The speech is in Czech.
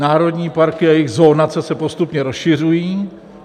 Národní parky a jejich zonace se postupně rozšiřují.